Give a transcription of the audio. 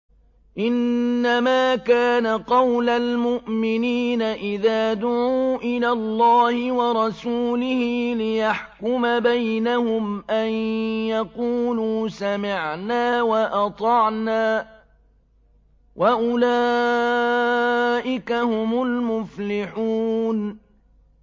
إِنَّمَا كَانَ قَوْلَ الْمُؤْمِنِينَ إِذَا دُعُوا إِلَى اللَّهِ وَرَسُولِهِ لِيَحْكُمَ بَيْنَهُمْ أَن يَقُولُوا سَمِعْنَا وَأَطَعْنَا ۚ وَأُولَٰئِكَ هُمُ الْمُفْلِحُونَ